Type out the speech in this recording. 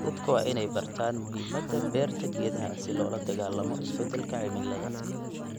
Dadka waa in ay bartaan muhiimada beerta geedaha si loo la dagaallamo isbedelka cimilada.